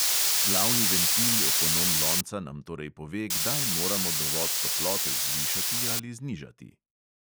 Glavni ventil ekonom lonca nam torej pove, kdaj moramo dovod toplote zvišati ali znižati.